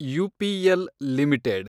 UPL limited